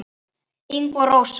Ingvi og Rósa.